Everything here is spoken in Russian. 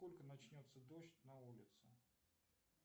во сколько начнется дождь на улице